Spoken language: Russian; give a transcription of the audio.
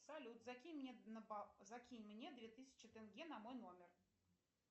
салют закинь мне две тысячи тенге на мой номер